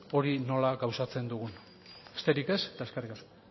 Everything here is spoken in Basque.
hori nola gauzatzen dugun besterik ez eta eskerrik asko